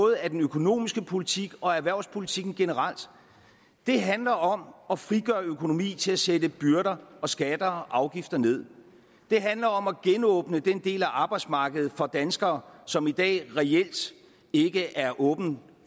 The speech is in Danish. af den økonomiske politik og erhvervspolitikken generelt det handler om at frigøre økonomi til at sætte byrder og skatter og afgifter nederst det handler om at genåbne den del af arbejdsmarkedet for danskere som i dag reelt ikke er åbent